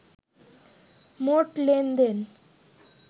মোট লেনদেনের